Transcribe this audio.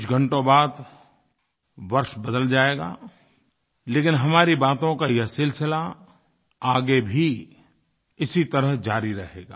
कुछ घंटों बाद वर्ष बदल जाएगा लेकिन हमारी बातों का यह सिलसिला आगे भी इसी तरह जारी रहेगा